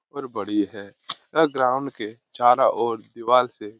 और बड़ी है यह ग्राउंड के चारो दिवाल से --